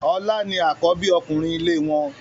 Ọlá ni àkọ́bí ọkùnrin ilé wọn.